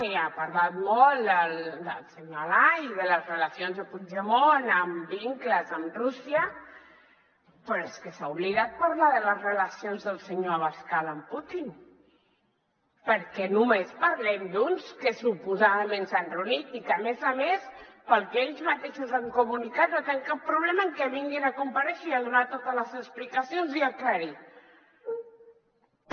i ha parlat molt del senyor alay i de les relacions de puigdemont amb vincles amb rússia però és que s’ha obli·dat de parlar de les relacions del senyor abascal amb putin per què només parlem d’uns que suposadament s’han reunit i que a més a més pel que ells mateixos han comunicat no tenen cap problema en que vinguin a comparèixer i a donar totes les explicacions i aclarir·ho